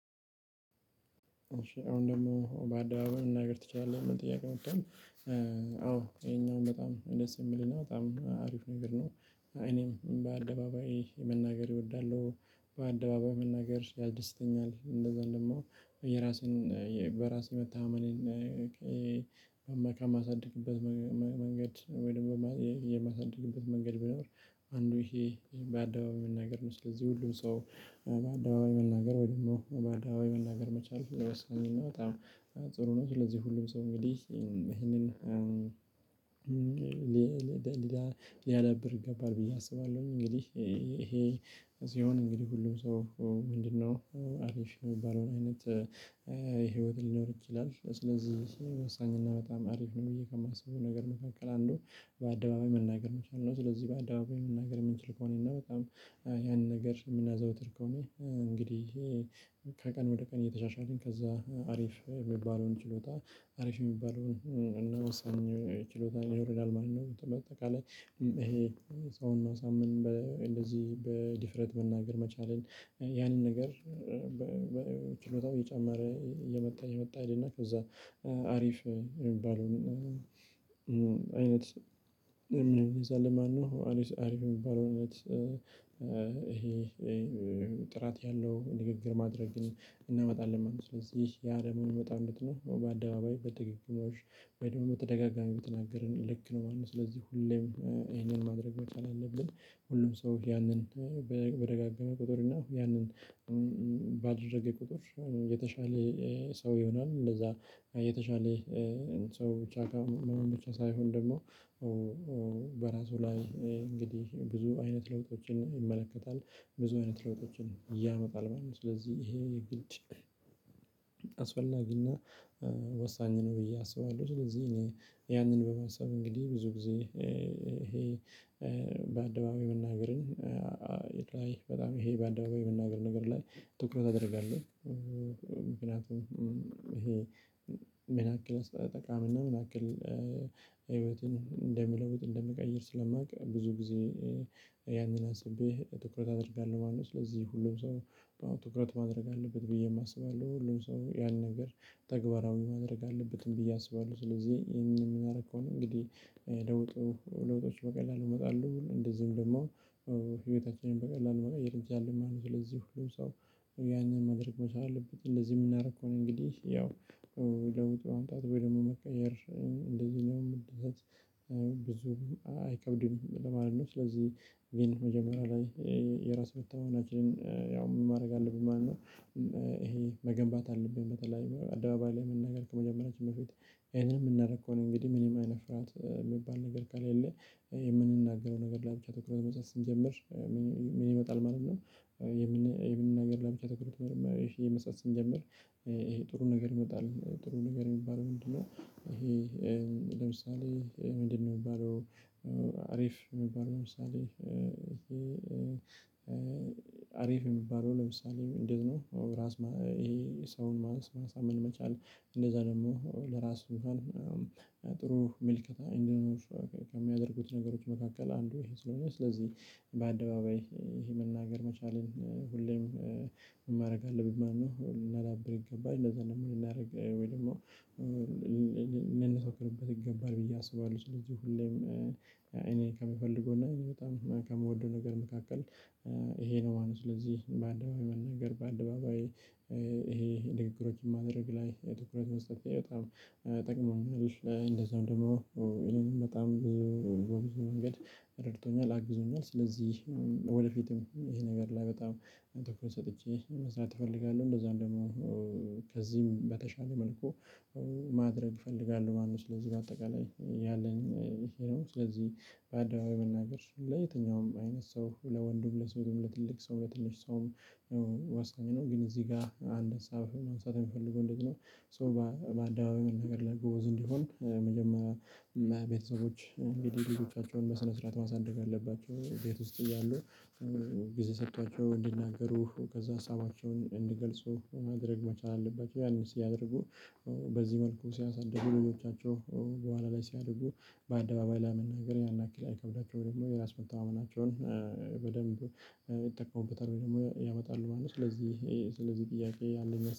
አሁን ደግሞ በአደባባይ ነገር ትችላለህ? ሚል ጥያቄ መቶዋል አዎ ይሄኛው በጣም ደስ የሚልና በጣም አሪፍ ነገር ነው። እኔም በአደባባይ መናገር እወዳለሁ በአደባባይ መናገር ያስደስተኛል። እንደዛም ደሞ የራሴን በራሴ መተማመንን። በአማካ የማሳድግበት መንገድ ወይ ደሞ የማሳድግበት መንገድ ቢኖር አንዱ ይሄ በአደባባይ መናገር ነው። ስለዚህ ሁሉ ሰው በአደባባይ መናገር ወይ ደግሞ በአደባባይ መናገር መቻል ወሳኝና በጣም ጥሩ ነው። ስለዚህ ሁሉም ሰው እንግዲህ ይሄንን ሊያዳብር ይገባል ብዬ አስባለሁኝ። እንግዲህ ይሄ ሲሆን እንግዲህ ሁሉም ሰው ምንድነው አሪፍ የሚባለውን አይነት ህይወት ሊኖር ይችላል። ስለዚህ ወሳኝና በጣም አሪፍ ነው ብዬ ከማስበው ነገር መካከል አንዱ በአደባባይ መናገር መቻል ነው። ስለዚህ በአደባባይ መናገር የምንችል ከሆነ እና በጣም ያን ነገር የምናዘውትር ከሆነ እንግዲህ ከቀን ወደ ቀን እየተሻሻልን ከዛ አሪፍ የሚባለውን ችሎታ አሪፍ የሚባለውን እና ወሳኝ ችሎታ ይኖረናል ማለት ነው። በአጠቃላይ ይሄ ሰውን ማሳመን እንደዚህ በድፍረት መናገር መቻሌን ያንን ነገር ችሎታው እየጨመረ እየመጣ እየመጣ ይሄድና ከዛ አሪፍ የሚባለውን አይነት እንይዛለን ማለት ነው። አሪፍ የሚባለውን እውነት ይሄ ጥራት ያለው ንግግር ማድረግ እናመጣለን ማለት ነው። ስለዚህ ያ ደሞ በጣም በጣም በአደባባይ በድግግሞሽ ወይ ደግሞ በተደጋጋሚ በተናገርን ልክ ነው ማለት ነው ስለዚህ ሁሌም ይሄንን ማድረግ መቻል አለብን። ሁሉም ሰው ያንን በደጋጋመ ቁጥር እና ያንን ባደረገ ቁጥር የተሻለ ሰው ይሆናል። እንደዛ የተሻለ ሰው ብቻ ሳይሆን ደግሞ በራሱ ላይ እንግዲህ ብዙ አይነት ለውጦችን ይመለከታል። ብዙ አይነት ለውጦችን ያመጣል ማለት ነው። ስለዚህ ይሄ የግድ አስፈላጊና ወሳኝ ነው ብዬ አስባለሁ። ስለዚህ እኔ ያንን በመሳብ እንግዲህ ብዙ ጊዜ ይሄ በአደባባይ የመናገርን ላይ በጣም ይሄ በአደባባይ የመናገር ነገር ላይ ትኩረት አደርጋለሁ። ምክንያቱም ይሄ ምን ያክል ጠቃሚና ምን አክል ህይወትን እንደምለውጥ እንደምቀይር ስለማውቅ ብዙ ጊዜ ያንን አስቤ ትኩረት አደርጋለሁ ማለት ነው። ስለዚህ ሁሉም ሰው ትኩረት ማድረግ አለበት ብዬ አስባለሁ። ሁሉም ሰው ያልነገር ተግባራዊ ማድረግ አለበትም ብዬ አስባለሁ። ስለዚህ ይሄንን የምናደርገው ነው እንግዲህ ለውጡ ለውጦች በቀላሉ ይመጣሉ እንደዚህም ደግሞ ህይወታችንን በቀላሉ መቀየር ይቻላል ማለት ነው። ስለዚህ ሁሉም ሰው ያንን ማድረግ መቻል አለበት። እንደዚህ የምናደርግ ከሆነ እንግዲህ ያው ለውጥ ማምጣት ወይ ደግሞ መቀየር እንደዚህ ነው መደሰት ብዙ አይከብድም ለማለት ነው። ስለዚህ ቪን የመጀመሪያ ላይ የራስ መተማመናችንን ያው ምን ማድረግ አለብን ማለት ነው። ይሄ መገንባት አለብን በተለይ አደባባይ ላይ መናገር ከመጀመሪያችን በፊት እኔን የምናደርግ ከሆነ እንግዲህ ምንም አይነት ፍርሃት የሚባል ነገር ካለ የለ የምንናገረው ነገር ለአፍ ትኩረት መጽሐፍ ስንጀምር ምን ይመጣል ማለት ነው። የምን የምን ነገር ለብቻ ተወኩት ይሄ መስጠት ስንጀምር ይሄ ጥሩ ነገር ይመጣል ጥሩ ነገር የሚባለው ምንድነው? ይሄ ለምሳሌ ምንድነው የሚባለው አሪፍ የሚባለው ለምሳሌ ይሄ አሪፍ የሚባለው ለምሳሌ እንደዚህ ነው። ራስን ሰውንማንሳመን መቻል እንደዛ ደግሞ ለራሱ ጥሩ መልከታ እንዲህ ነው። ከሚያደርጉት ነገሮች መካከል አንዱ ይሄ ስለሆነ ስለዚህ በአደባባይ ይሄ መናገር መቻልን ሁሌም ማረግ አለብን ማለት ነው። ልናዳብር ይገባል እንደዛ ነው። ምን ልናደርግ ወይ ደግሞ ይገባል ብዬ አስባለሁ። ስለዚህ ሁሌም እኔ ከምፈልገው እና እኔ በጣም ከምወደው ነገር መካከል ይሄ ነው። ማነው ስለዚህ በአደባባይ መናገር በአደባባይ ይሄ ንግግሮችን ማድረግ ላይ ትኩረት መስጠቴ በጣም ይጠቅመናል። እንደዛም ደግሞ ይሄንን በጣም ብዙ በብዙ መንገድ ረድቶኛል አግዝኛል። ስለዚህ ወደፊትም ይሄ ነገር ላይ በጣም ትኩረት ሰጥቼ መስራት እፈልጋለሁ። እንደዛም ደግሞ ከዚህም በተሻለ መልኩ ማድረግ እፈልጋለሁ ማለት ነው። ስለዚህ በአጠቃላይ ያለኝ ይሄ ስለዚህ በአደባባይ መናገር ለየትኛውም አይነት ሰው ለወንድም ለሴትም ለትልቅ ሰው ለትንሽ ሰውም ወሳኝ ነው። ግን እዚህ ጋ አንድ አሳብ ማንሳት የሚፈልገውን እንዴት ነው? ሶ በአደባባይ መናገር ላይ ጎዝ እንዲሆን መጀመሪያ ቤተሰቦች እንግዲህ ልጆቻቸውን በስነ ስርዓት ማሳደግ አለባቸው ቤት ውስጥ እያሉ ጊዜ ሰጥቷቸው እንዲናገሩ ከዛ ሀሳባቸውን እንድገልጹ ማድረግ መቻል አለባቸው። ያንን ሲያደርጉ በዚህ መልኩ ሲያሳድዱ ልጆቻቸው በኋላ ላይ ሲያድጉ በአደባባይ ላይ መናገር ያን ያክል አይከብዳቸውም ወይም ደግሞ የራስ መተማመናቸውን በደንብ ይጠቀሙበታል ወይ ደግሞ ያመጣሉ ማለት ነው። ስለዚህ ስለዚህ ጥያቄ አንድ